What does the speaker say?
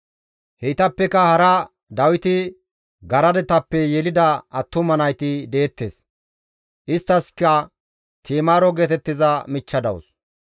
Heytappeka hara Dawiti garadetappe yelida attuma nayti deettes; isttaskka Ti7imaaro geetettiza michcha dawus.